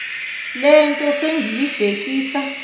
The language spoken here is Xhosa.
le nto sendiyibhekisa